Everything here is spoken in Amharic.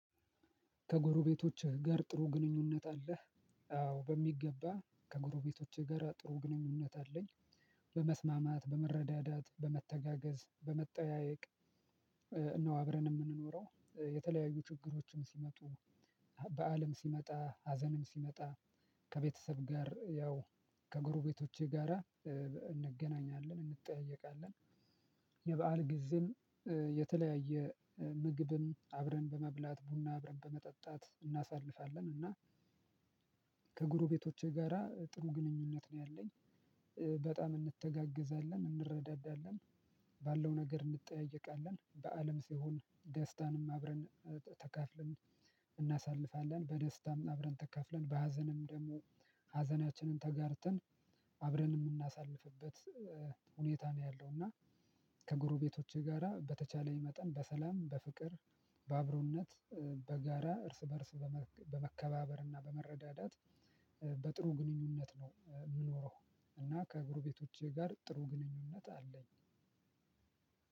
ከጎሮቤቶችህ ጋር ጥሩ ግንኙነት አለህ? አዎ በሚገባ ከጎሮቤቶችህ ጋር ጥሩ ግንኙነት አለኝ። በመስማማት በመረዳዳት በመተጋገዝ በመጠያየቅ። ነው አብረን የምንኖረው የተለያዩ ችግሮችም ሲመጡ በዓልም ሲመጣ ሀዘንም ሲመጣ። ከቤተሰብ ጋር ያው ከጎሮቤቶቼ ጋራ እንገናኛለን እንጠያየቃለን። የበአል ጊዜም የተለያየ ምግብም አብረን በመብላት ቡና አብረን በመጠጣት እናሳልፋለን። እና ከጎሮቤቶቼ ጋራ ጥሩ ግንኙነት ነው ያለኝ። በጣም እንተጋግዛለን እንረዳዳለን ባለው ነገር እንጠያየቃለን በአለም ሲሆን ደስታንም አብረን ተካፍለን እናሳልፋለን። በደስታም አብረን ተካፍለን በሀዘንም ደግሞ ሀዘናችንን ተጋርተን አብረን የምናሳልፍበት ሁኔታ ነው ያለው። እና ከጎሮቤቶቼ ጋራ በተቻለኝ መጠን በሰላም በፍቅር በአብሮነት በጋራ እርስ በእርስ በመከባበርና በመረዳዳት በጥሩ ግንኙነት ነው የምኖረው። እና ከጎሮቤቶቼ ጋር ጥሩ ግንኙነት አለኝ።